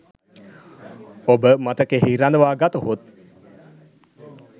ඔබ මතකයෙහි රඳවා ගතහොත්